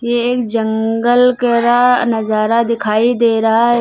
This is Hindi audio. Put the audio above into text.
एक जंगल का नजारा दिखाई दे रहा है।